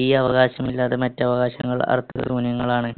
ഈ അവകാശം ഇല്ലാതെ മറ്റു അവകാശങ്ങൾ അർത്ഥശൂന്യങ്ങളാണ്.